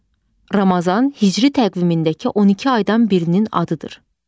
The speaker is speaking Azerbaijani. Ramazan hicri təqvimindəki 12 aydan birinin adıdır.